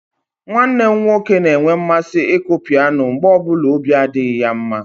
Nwanne m nwoke na-enwe mmasị ịkụ pianọ mgbe ọ bụla ọbi adịghị ya mma.